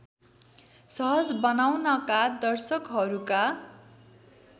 सहज बनाउनका दर्शकहरूका